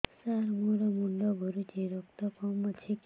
ସାର ମୋର ମୁଣ୍ଡ ଘୁରୁଛି ରକ୍ତ କମ ଅଛି କି